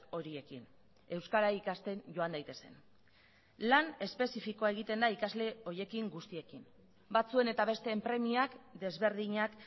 horiekin euskara ikasten joan daitezen lan espezifikoa egiten da ikasle horiekin guztiekin batzuen eta besteen premiak desberdinak